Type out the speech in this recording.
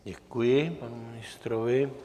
Děkuji panu ministrovi.